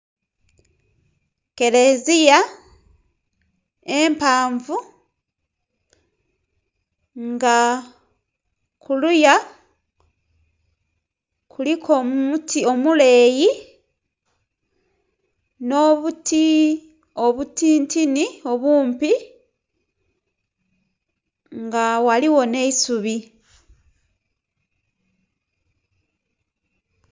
Kereziya empanvu nga kuluya kuliku omuti omuleeyi no'buti obutintini obumpi nga ghaligho nhe'isubi.